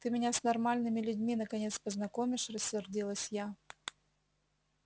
ты меня с нормальными людьми наконец познакомишь рассердилась я